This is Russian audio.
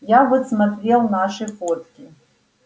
я вот смотрел наши фотки